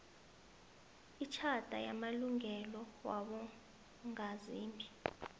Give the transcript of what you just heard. itjhatha yamalungelo wabongazimbi